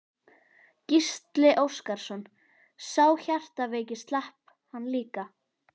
Gísli Óskarsson: Sá hjartveiki, slapp hann líka?